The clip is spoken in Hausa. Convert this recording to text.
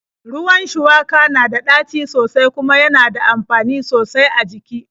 Ruwan shuwaka na da ɗaci sosai kuma yana da amfani sosai a jiki.